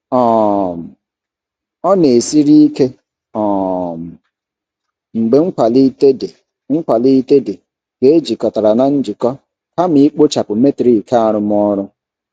um Ọ na-esiri ike um mgbe nkwalite dị nkwalite dị ka ejikọtara na njikọ kama ikpochapụ metrik arụmọrụ.